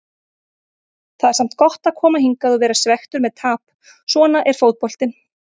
Það er samt gott að koma hingað og vera svekktur með tap, svona er fótboltinn.